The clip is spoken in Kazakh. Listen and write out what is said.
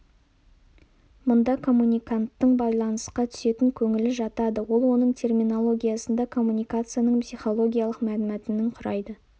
мұнда коммуниканттың байланысқа түсетін көңілі жатады ол оның терминологиясында коммуникацияның психологиялық мәнмәтінін құрайды